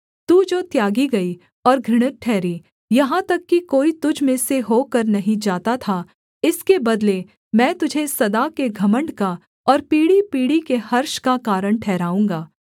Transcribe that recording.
तू जो त्यागी गई और घृणित ठहरी यहाँ तक कि कोई तुझ में से होकर नहीं जाता था इसके बदले मैं तुझे सदा के घमण्ड का और पीढ़ीपीढ़ी के हर्ष का कारण ठहराऊँगा